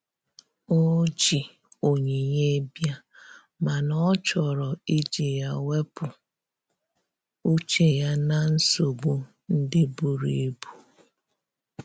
O ji onyinye bia, mana ọ chọrọ iji ya wepụ uche ya na nsogbo ndi buru ibụ.